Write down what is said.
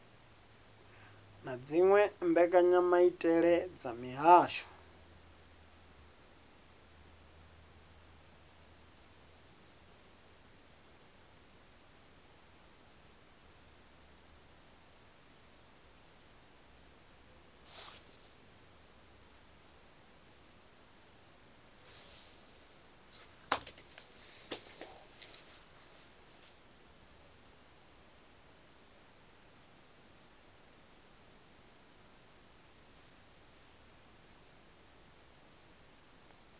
na dziwe mbekanyamaitele dza mihasho